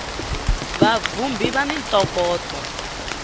va vhumbhi va ni ntokoto